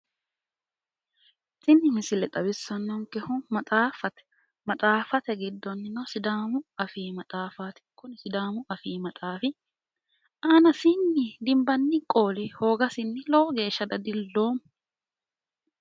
Tini misile xawissanonikehu Maxaafate maxaafate giddonino sidaamu afii maxaafaat kuni sidaamu afii maxaaf aanasiini dinibanni qooli hoogasinni lowo geesha dadilooma.